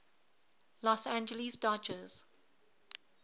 los angeles dodgers